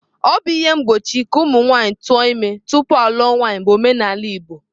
Obu ihe mgbochi ka nwanyi tuo ime tupu aluo nwanyi bu omenala igbo.